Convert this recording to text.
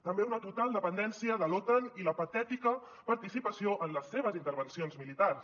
també una total dependència de l’otan i la patètica participació en les seves intervencions militars